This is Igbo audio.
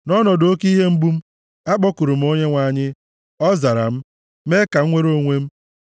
Nʼọnọdụ oke ihe mgbu m, akpọkuru m Onyenwe anyị, ọ zara m, mee ka m nwere onwe m.